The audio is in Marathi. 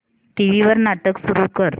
टीव्ही वर नाटक सुरू कर